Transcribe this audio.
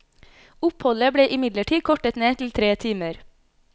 Oppholdet ble imidlertid kortet ned til tre timer.